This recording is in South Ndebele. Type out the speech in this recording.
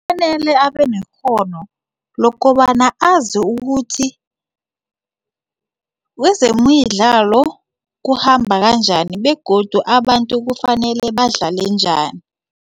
Kufanele abanekghono lokobana azi ukuthi wezemidlalo kuhamba kanjani begodu abantu kufanele badlale njani.